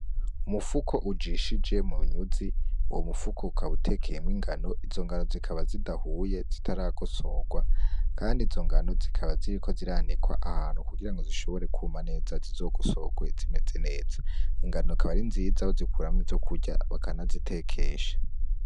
Umufuko ujishije mu nyuzi uwo mu fuko ukaba utekeyemwo ingano izo ngano zikaba zidahuye zitaragosorwa kandi izo ngano zikaba ziriko ziranikwa ahantu kugira zishobore kuma neza zizogosorwe zimeze neza, ingano zikaba ari nziza bazikuramwo izo kurya bakanazitekesha.